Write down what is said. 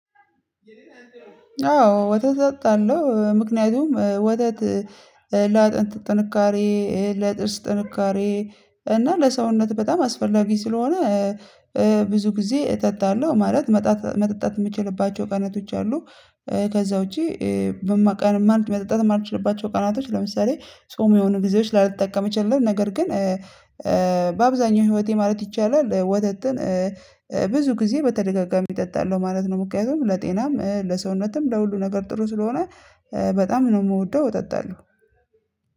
አዎ ወተት አጠጣለሁ ምክንያቱም ወተት ለአጥንት ጥንካሬ ይሄ ለጥርስ ጥንካሬ እና ለሰውነት በጣም አስፈላጊ ስለሆነ ብዙ ጊዜ እጠጣለሁ ማለት መጣጥ መጠጣት የምችልባቸው ቀናቶች አሉ ከዛ ውጪ መጠጣት የማልችልባቸው ቀናቶች ለምሳሌ ጾም የሆኑ ብዙዎች ላልተጠቀምችልን ነገር ግን በአብዛኛው ህይወቴ ማለት ይቻላል ወተትን ብዙ ጊዜ በተደጋጋሚ እጠጣለሁ ማለት ነው ምክንያቱም ለጤናም ለሰውነትም ለሁሉ ነገር ጥሩ ስለሆነ በጣም ነው የምወደው እጠጣለሁ